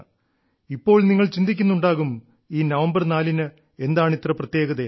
ഇപ്പോൾ നിങ്ങൾ ചിന്തിക്കുന്നുണ്ടാകും ഈ നവംബർ നാലിന് എന്താണിത്ര പ്രത്യേകതയെന്ന്